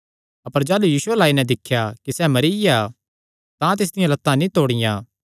अपर जाह़लू यीशु अल्ल आई नैं दिख्या कि सैह़ मरिया ऐ तां तिसदियां लत्तां नीं तोड़ियां